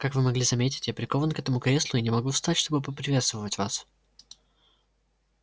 как вы могли заметить я прикован к этому креслу и не могу встать чтобы поприветствовать вас